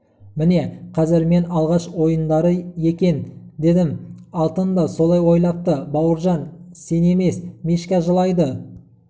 міне қазір мен алғаш ойындары екен дедім алтын да солай ойлапты бауыржан сен емес мишка жылайды